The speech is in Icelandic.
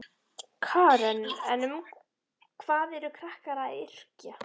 Karen: En um hvað eru krakkar að yrkja?